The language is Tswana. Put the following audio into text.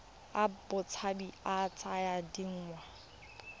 a botshabi a tsaya dingwaga